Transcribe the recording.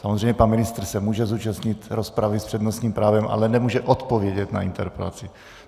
Samozřejmě pan ministr se může zúčastnit rozpravy s přednostním právem, ale nemůže odpovědět na interpelaci.